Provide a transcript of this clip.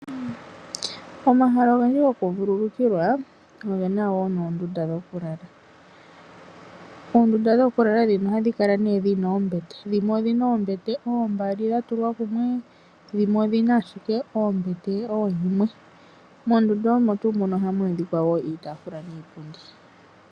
Omahala ogendji gokuvululukilwa ohaga kala ge na oondunda dhokulala. mondunda dhokulala ndhino ohadhi kala nee dhi na oombete, dhimwe odhi na oombete oombali dha tulwa kumwe dhimwe odhi na ashike oombete ooyimwe. Mondunda omo tuu muno ohamu adhika woo iitaafula niipundi